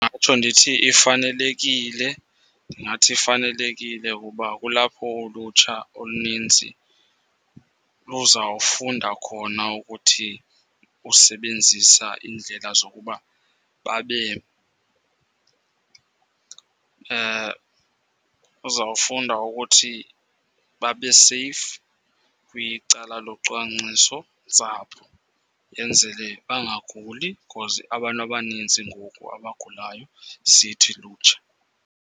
Ndingatsho ndithi ifanelekile. Ndingathi ifanelekile kuba kulapho ulutsha oluninzi luzawufunda khona ukuthi usebenzisa iindlela zokuba babe uzawufunda ukuthi babe seyifu kwicala locwangciso-ntsapho. Yenzele bangaguli khozi abantu abanintsi ngoku abagulayo sithi lutsha.